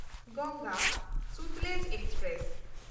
Ganga Sutlej express